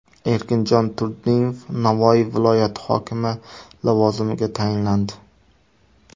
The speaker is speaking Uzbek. Erkinjon Turdimov Navoiy viloyati hokimi lavozimiga tayinlandi.